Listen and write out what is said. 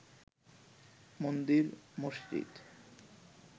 মন্দির মসজিদ